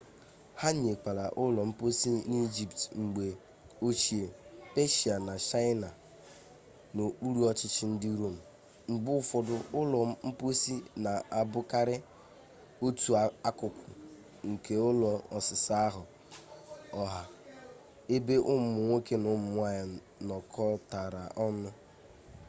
ha nwekwara ụlọ mposi n'ijipt mgbe ochie peshia na chaịna n'okpuru ọchịchị ndị rom mgbe ụfọdụ ụlọ mposi na-abụkarị otu akụkụ nke ụlọ ọsịsa ahụ ọha ebe ụmụ nwoke na ụmụ nwanyị nọkọtara ọnụ